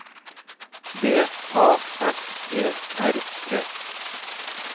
B A S E R T